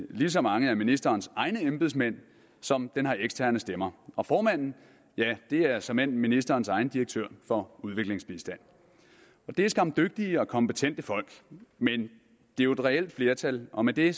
lige så mange af ministerens egne embedsmænd som den har eksterne stemmer og formanden er såmænd ministerens egen direktør for udviklingsbistand det er skam dygtige og kompetente folk men det er jo et reelt flertal og med det